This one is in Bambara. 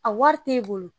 A wari t'e bolo